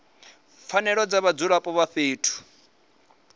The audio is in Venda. pfanelo dza vhadzulapo vha fhethu